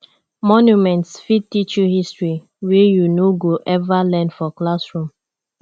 monuments fit teach you history wey you no go ever learn for classroom